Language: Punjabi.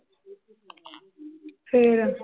ਫਿਰ